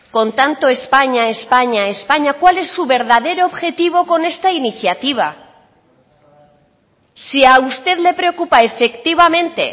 con tanto españa españa españa cuál es su verdadero objetivo con esta iniciativa si a usted le preocupa efectivamente